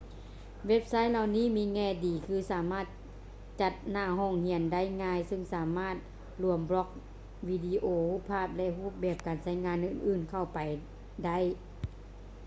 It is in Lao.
ເວັບໄຊທ໌ເຫຼົ່ານີ້ມີແງ່ດີຄື ສາມາດຈັດໜ້າຫ້ອງຮຽນໄດ້ງ່າຍເຊິ່ງສາມາດລວມບລັອກ ວິດີໂອ ຮູບພາບ ແລະ ຮູບແບບການໃຊ້ງານອື່ນໆເຂົ້າໄປໄດ້